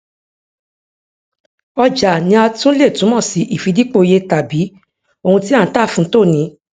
ọjà ni a tún le túmọ sí ìfidípò iyetàbí ohun tí à ń tà fún tòní